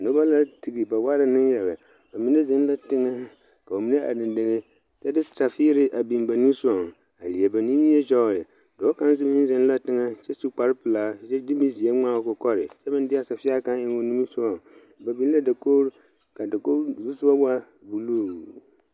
Nobɔ la tige ba waa la neŋyaga ba mine zeŋ la teŋɛ ka ba mine are deŋ deŋe kyɛ de safiire a biŋ nimisugɔŋ a leɛ ba nimie kyɔgle dɔɔ kaŋ meŋ yi zeŋ la teŋɛ kyɛ su kparepelaa de mi zeɛ ngmaa o kɔkɔre kyɛ meŋ deaa safie kaŋ eŋ o nimisugɔŋ ba biŋ la dakogro kaa dokogro zusugɔ waa bluu.